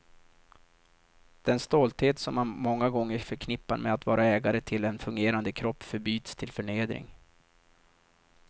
Den stolthet som man många gånger förknippar med att vara ägare till en fungerande kropp förbyts till förnedring.